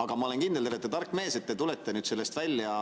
Aga ma olen kindel, et te olete tark mees ja tulete sellest välja